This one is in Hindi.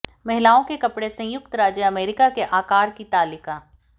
महिलाओं के कपड़े संयुक्त राज्य अमेरिका के आकार की तालिका